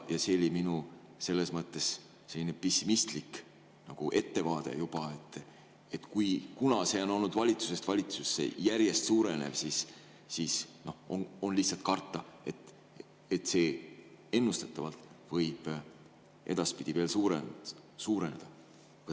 See oli minu pessimistlik nagu ettevaade juba, et kuna see on olnud valitsusest valitsusse järjest süvenev, siis on lihtsalt karta, et see ennustatavalt võib edaspidi veel süveneda.